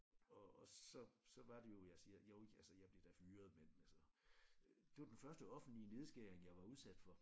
Og så så var det jeg siger jo altså jeg blev da fyret men altså det var den første offentlige nedskæring jeg var udsat for